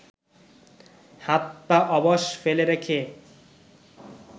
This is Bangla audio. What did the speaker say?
হাত পা অবশ ফেলে রেখে